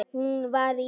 Hún var í